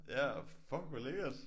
Ja fuck hvor lækkert